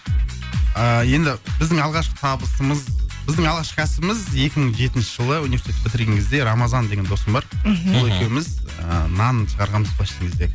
ыыы енді біздің алғашқы табысымыз біздің алғашқы кәсібіміз екі мың жетінші жылы университет бітірген кезде рамазан деген досым бар мхм сол екеуміз ыыы нан шығарғанбыз